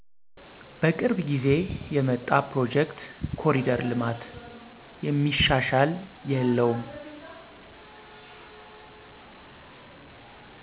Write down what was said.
በቅርብ ጊዜ የመጣ ፕሮጀክት ኮሪደር ልማት። የሚሻሽል የለውም